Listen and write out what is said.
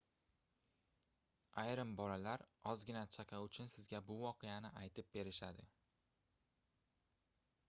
ayrim bolalar ozgina chaqa uchun sizga bu voqeani aytib berishadi